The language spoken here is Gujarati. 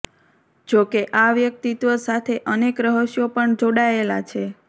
જો કે આ વ્યક્તિત્વ સાથે અનેક રહસ્યો પણ જોડાયેલા છે